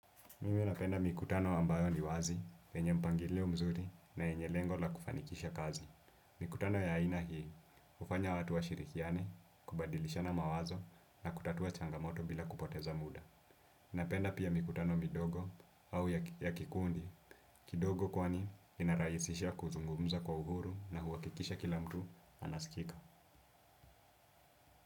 Mimi napenda mikutano ambayo ni wazi, yenye mpangileo mzuri na yenye lengo la kufanikisha kazi. Mikutano ya aina hii, ufanya watu washirikiane, kubadilishana mawazo na kutatua changamoto bila kupoteza muda. Napenda pia mikutano midogo au ya kikundi, kidogo kwani inarahisisha kuzungumza kwa uhuru na huakikisha kila mtu anaskika.